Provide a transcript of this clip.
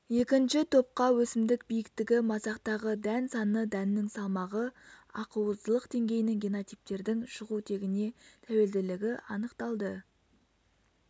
екінші топқа өсімдік биіктігі масақтағы дән саны дәннің салмағы ақуыздылық деңгейінің генотиптердің шығу тегіне тәуелділігі анықталды